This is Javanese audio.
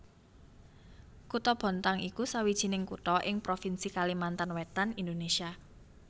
Kutha Bontang iku sawijining kutha ing provinsi Kalimantan Wétan Indonésia